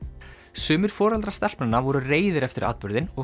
sumir foreldrar stelpnanna voru reiðir eftir atburðinn og